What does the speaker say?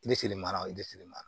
mara